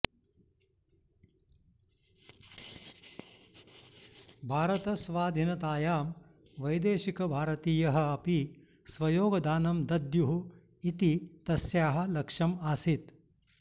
भारतस्वाधीनतायां वैदेशिकभारतीयः अपि स्वयोगदानं दद्युः इति तस्याः लक्ष्यम् आसीत्